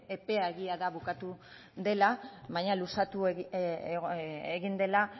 epea egia da bukatu dela baina luzatu egin dela